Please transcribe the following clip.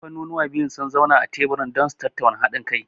Kamfaniuwan biyun sun zauna a teburin taro don su tattauna haɗin kai.